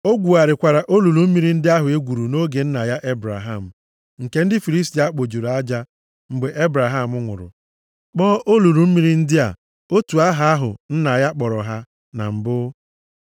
O gwugharịkwara olulu mmiri ndị ahụ e gwuru nʼoge nna ya Ebraham, nke ndị Filistia kpojuru aja mgbe Ebraham nwụrụ, kpọọ olulu mmiri ndị a otu aha ahụ nna ya kpọrọ ha na mbụ.